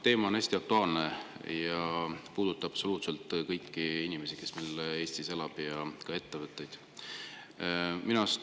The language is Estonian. Teema on hästi aktuaalne ja puudutab absoluutselt kõiki inimesi, kes Eestis elavad, ja ka ettevõtteid.